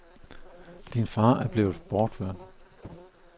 Din far er blevet bortført.